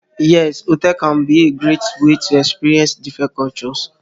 Yes, hotels can be a great way to experience different cultures.